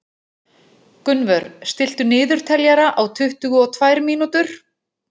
Gunnvör, stilltu niðurteljara á tuttugu og tvær mínútur.